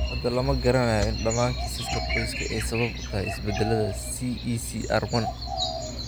Hadda lama garanayo in dhammaan kiisaska qoyska ay sabab u tahay isbeddellada CECR1.